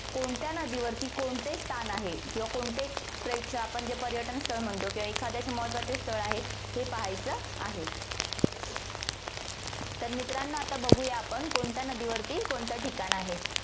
कोणत्या नदीवरती कोणते स्थान आहे किंवा कोणते प्रेक्ष~ आपण जे पर्यटन स्थळ म्हणतो किंवा एखादे असे महत्वाचे स्थळ आहे हे पाहायचं आहे. तर मित्रांनो, आता बघूया आपण कोणत्या नदीवरती कोणत ठिकाण आहे.